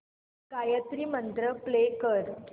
Gayatri mantra play कर